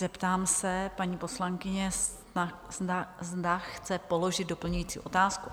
Zeptám se paní poslankyně, zda chce položit doplňující otázku?